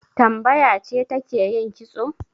Tambaya ce take yin kitso.